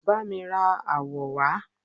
ba mi ra awọ wa